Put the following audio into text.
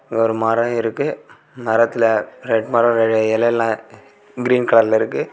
ஒரு மரம் இருக்கு மரத்துல ரெட் மரம்ல இலைல கிரீன் கலர் ல இருக்கு.